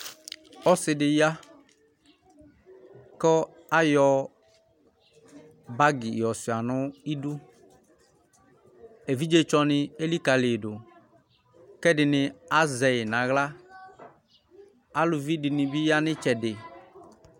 ɔsidi ya kɔ awɔ băgi yɔsanɔ ɩbu ɛvitsɔni ɛlikăliyidɔ kedini azɛwɛ nu aɣla